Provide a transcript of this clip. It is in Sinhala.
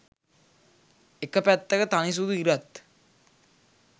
එක පැත්තක තනි සුදු ඉරත්